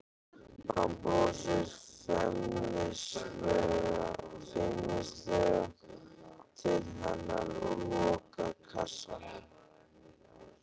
Hann brosir feimnislega til hennar og lokar kassanum.